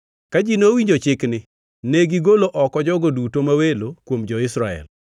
Ka ji nowinjo chikni, negigolo oko jogo duto ma welo kuom jo-Israel.